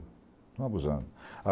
Estão abusando.